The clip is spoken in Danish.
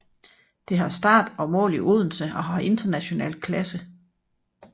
Det har start og mål i Odense og har international klasse